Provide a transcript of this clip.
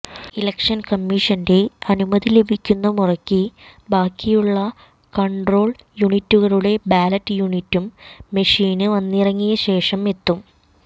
election കമ്മീഷന്റെ അനുമതി ലഭിക്കുന്ന മുറയ്ക്ക് ബാക്കിയുള്ള കണ്ട്രോള് യൂനിറ്റുകളും ബാലറ്റ് യൂനിറ്റും മെഷീന് വന്നിറങ്ങിയ ശേഷം എത്തും